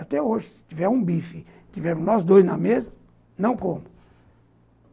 Até hoje, se tiver um bife, se tivermos nós dois na mesa, não como.